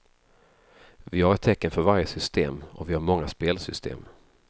Vi har ett tecken för varje system, och vi har många spelsystem.